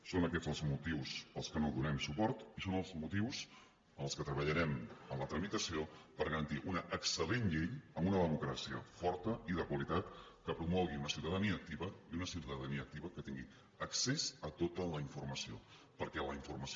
són aquests els motius pels quals no donem suport i són els motius amb els quals treballarem en la tramitació per garantir una excel·lent llei amb una democràcia forta i de qualitat que promogui una ciutadania activa i una ciutadania activa que tingui accés a tota la informació perquè la informació